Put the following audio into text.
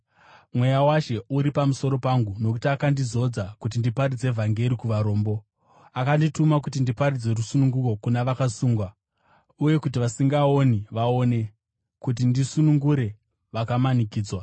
“Mweya waShe uri pamusoro pangu, nokuti akandizodza kuti ndiparidze vhangeri kuvarombo. Akandituma kuti ndiparidze rusununguko kuna vakasungwa uye kuti vasingaoni vaone, kuti ndisunungure vakamanikidzwa,